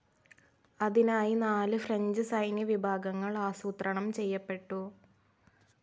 അതിനായി നാല് ഫ്രഞ്ച്‌ സൈന്യ വിഭാഗങ്ങൾ ആസൂത്രണം ചെയ്യപ്പെട്ടു.